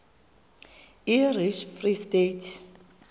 irish free state